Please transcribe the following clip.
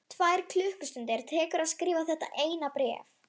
Tvær klukkustundir tekur að skrifa þetta eina bréf.